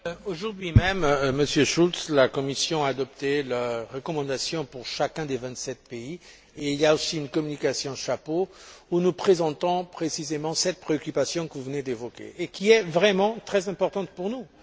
Aujourd'hui même, Monsieur Schulz, la Commission a adopté la recommandation pour chacun des vingt sept pays et il y a aussi une communication chapeau où nous présentons précisément cette préoccupation que vous venez d'évoquer et qui est vraiment très importante pour nous.